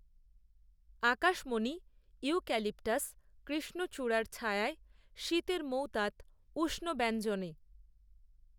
আকাশমণিইউক্যালিপটাসকৃষ্ণচূড়ার ছায়ায়শীতের মৌতাতউষ্ণ ব্যঞ্জনে